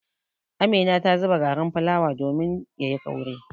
Amina ta zuba garin fulawa domin ya yi kauri.